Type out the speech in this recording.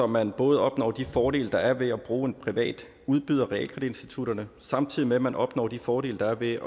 man både opnår de fordele der er ved at bruge en privat udbyder realkreditinstitutterne samtidig med at man opnår de fordele der er ved at